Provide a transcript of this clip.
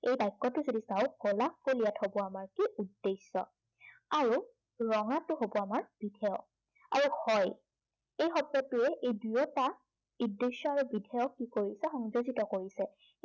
এই বাক্য়টো যদি চাও গোলাপ ফুল ইয়াত হব আমাৰ কি, উদ্দেশ্য়। আৰু ৰঙাটো হব আমাৰ বিধেয়। আৰু হয়, এই শব্দটোৱে ই দুয়োটা উদ্দেশ্য় আৰু বিধেয়ক কি কৰিছে, সংযোজিত কৰিছে।